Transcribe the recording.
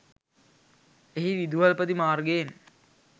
එහි විදුහල්පති මාර්ගයෙන්